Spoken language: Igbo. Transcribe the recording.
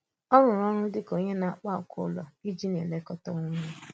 Ọ̀ rụrụ̀ ọrụ dị̀ ka onye na-akpà ákwà ụlọ iji na-elekọta onwe ya.